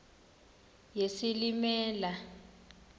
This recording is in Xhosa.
yesilimela